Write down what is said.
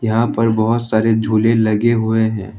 यहां पर बहोत सारे झूले लगे हुए हैं।